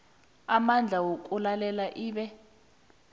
amandla wokulalela ibe